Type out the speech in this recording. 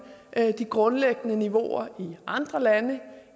de grundlæggende niveauer i andre lande